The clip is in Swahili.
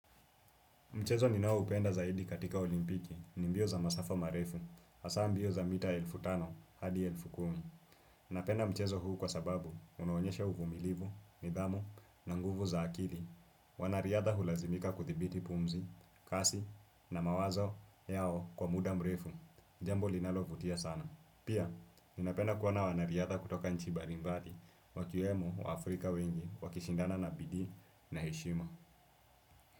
Mchezo ninao upenda zaidi katika olimpiki, ni mbio za masafa marefu, hasaa mbio za mita elfu tano hadi elfu kumi. Napenda mchezo huu kwa sababu, unaonyesha uvumilivu, nidhamu, na nguvu za akili. Wanariadha hulazimika kuthibiti pumzi, kasi, na mawazo yao kwa muda mrefu. Jambo linalovutia sana. Pia, ninapenda kuona wanariadha kutoka nchi mbali mbali, wakiwemo wa Afrika wengi, wakishindana na bidii na heshima.